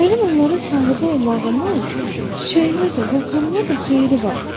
Mənim onlara sahibi olmağımın çiçəyimə də, vulkanıma da xeyri var.